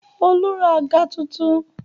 Olú ra àga tuntun.